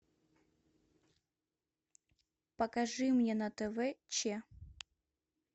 покажи мне на тв че